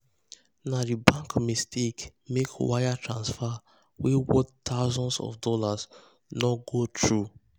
na the bank mistake make wire transfer wey worth thousands of dollars no go through.